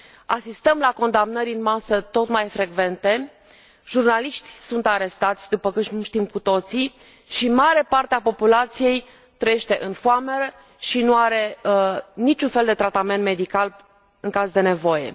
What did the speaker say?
Asistăm la condamnări în masă tot mai frecvente, jurnaliști sunt arestați, după cum știm cu toții, și mare parte a populației trăiește în foamete și nu are niciun fel de tratament medical în caz de nevoie.